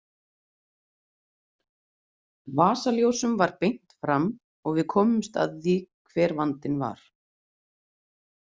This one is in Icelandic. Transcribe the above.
Vasaljósum var beint fram og við komumst að því hver vandinn var.